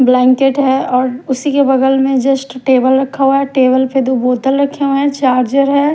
Blanket है और उसी के बगल में जस्ट टेबल रखा हुआ है टेबल पे दो बोतल रखे हुए हैं चार्जर है।